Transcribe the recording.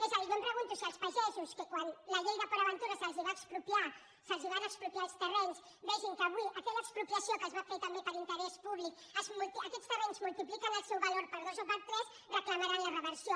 és a dir jo em pregunto si quan els pagesos que quan la llei de port aventura se’ls van expropiar els terrenys vegin que avui aquella expropiació que es va fer també per interès públic aquests terrenys multipliquen el seu valor per dos o per tres reclamaran la reversió